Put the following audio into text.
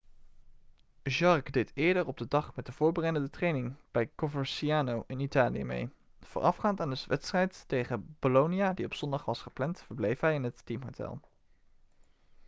jarque deed eerder op de dag met de voorbereidende training bij coverciano in italië mee voorafgaand aan de wedstrijd tegen bolonia die op zondag was gepland verbleef hij in het teamhotel